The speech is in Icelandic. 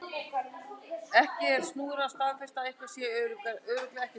En það er snúnara að staðfesta að eitthvað sé örugglega ekki til.